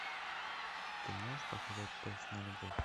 ты можешь показать тест на любовь